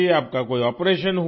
आपका कोई आपरेशन हुआ